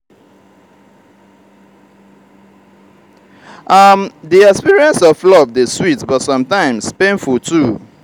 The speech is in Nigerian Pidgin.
um di experience of love dey sweet but sometimes painful too.